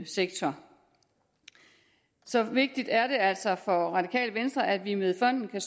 sektor så vigtigt er det altså for det radikale venstre at vi med fonden